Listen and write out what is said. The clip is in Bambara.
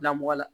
Bilamɔgɔ la